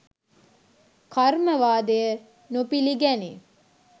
කර්මවාදය නොපිළිගැනේ.